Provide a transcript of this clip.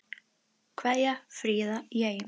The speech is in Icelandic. Kveðja, Fríða í Eyjum